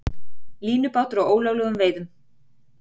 Línubátur á ólöglegum veiðum